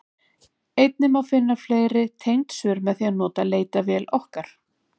Einnig má finna fleiri tengd svör með því að nota leitarvél okkar.